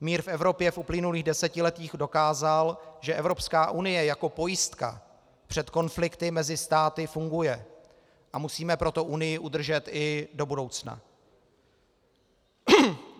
Mír v Evropě v uplynulých desetiletích dokázal, že Evropská unie jako pojistka před konflikty mezi státy funguje, a musíme proto Unii udržet i do budoucna.